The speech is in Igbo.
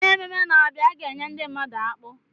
N'ememe na-abịa, a ga-enya ndi mmadu akpu.